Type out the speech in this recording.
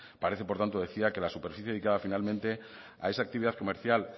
parece por tanto decía que la superficie dedicada finalmente a esa actividad comercial